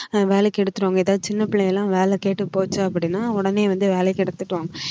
ஆஹ் வேலைக்கு எடுத்துருவாங்க ஏதாவது சின்ன பிள்ளைங்க எல்லாம் வேலை கேட்டுப் போச்சு அப்படின்னா உடனே வந்து வேலைக்கு எடுத்துக்குவாங்க